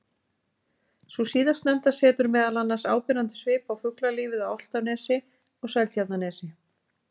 Sú síðastnefnda setur meðal annars áberandi svip á fuglalífið á Álftanesi og Seltjarnarnesi.